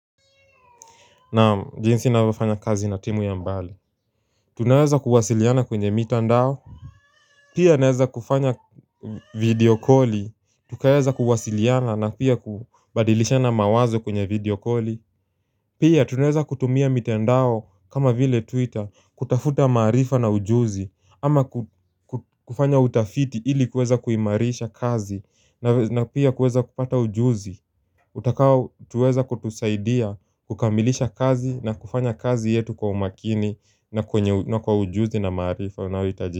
Naam jinsi ninavyo fanya kazi na timu ya mbali Tunaweza kuwasiliana kwenye mitandao Pia naweza kufanya video koli Tukaweza kuwasiliana na pia kubadilishana mawazo kwenye video koli Pia tunaweza kutumia mitandao kama vile twitter kutafuta maarifa na ujuzi ama kufanya utafiti ili kuweza kuimarisha kazi na pia kuweza kupata ujuzi Utakao tuweza kutusaidia kukamilisha kazi na kufanya kazi yetu kwa umakini na kwa ujuzi na maarifa unaohitajika.